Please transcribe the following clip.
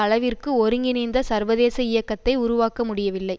அளவிற்கு ஒருங்கிணைந்த சர்வதேச இயக்கத்தை உருவாக்க முடியவில்லை